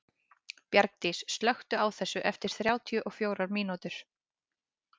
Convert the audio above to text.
Bjargdís, slökktu á þessu eftir þrjátíu og fjórar mínútur.